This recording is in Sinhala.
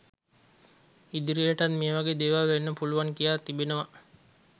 ඉදිරියටත් මේවගේ දේවල් වෙන්න පුළුවන් කියා තිබෙනවා.